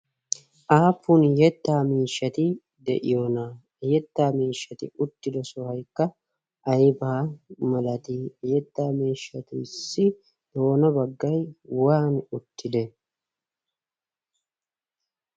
aapun yettaa miishshati de'iyoona yettaa miishshati uttido sohaykka aybaa malati yettaa miishshatuissi doona baggay waani uttide?